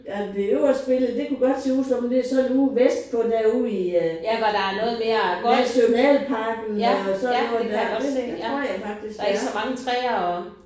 Ja det øverste billede det kunne godt se ud som om det sådan ude vestpå derude i øh Nationalparken og sådan noget der. Det det tror jeg faktisk det er